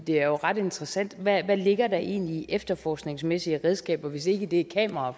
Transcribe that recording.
det er jo ret interessant hvad ligger der egentlig i efterforskningsmæssige redskaber hvis ikke det er kameraer